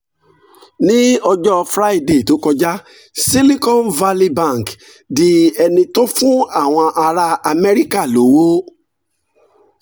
ní ọjọ́ friday tó kọjá silicon valley bank di ẹni tó fún àwọn ará amẹ́ríkà lówó